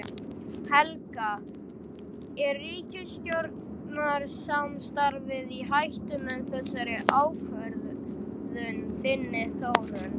Helga: Er ríkisstjórnarsamstarfið í hættu með þessari ákvörðun þinni Þórunn?